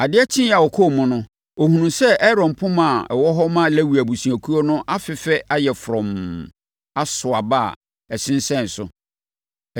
Adeɛ kyeeɛ a ɔkɔɔ mu no, ɔhunuu sɛ Aaron poma a ɛwɔ hɔ ma Lewi abusuakuo no afefɛ ayɛ frɔmm, aso aba a ɛsensɛn so.